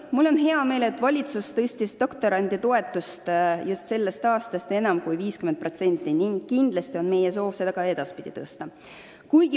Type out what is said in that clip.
Mul on hea meel, et valitsus tõstis doktoranditoetust sellest aastast enam kui 50% ning kindlasti on meie soov seda ka edaspidi tõsta.